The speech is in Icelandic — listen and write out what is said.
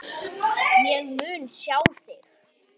En ég mun sjá þig.